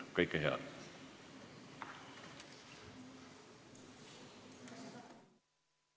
Istungi lõpp kell 12.08.